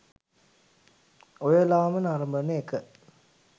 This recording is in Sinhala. ඔයලාම නරඹන එක